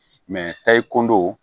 tayi kundow